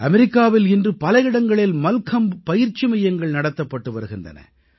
அமெரிக்காவில் இன்று பல இடங்களில் மல்கம்ப் பயிற்சி மையங்கள் நடத்தப்பட்டு வருகின்றன